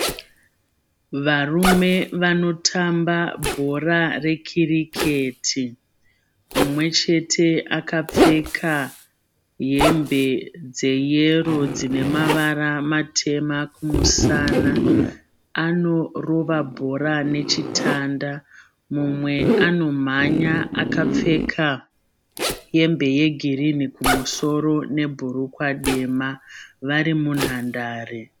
Varume vanotamba bhora rekiriketi. Mumwechete akapfeka hembe dzeyero dzinemavara matema kumusana. Anorova bhora nechitanda. Mumwe anomhanya akapfeka hembe yegirini kumusoro nebhurukwa dema vari munhandare.